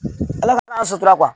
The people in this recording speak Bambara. Ala fana y'a sutura kuwa